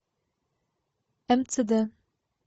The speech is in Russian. мцд